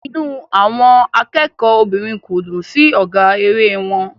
Inú àwọn akẹ́kọ̀ọ́ obìnrin kò dùn sí ọ̀gá eré wọn.